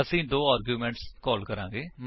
ਅਸੀ ਦੋ ਆਰਗੁਮੇਂਟਸ ਕੋਲ ਕਰਾਂਗੇ